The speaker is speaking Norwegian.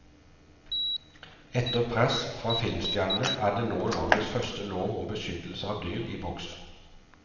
Etter press fra filmstjernene er nå landets første lov om beskyttelse av dyr i boks.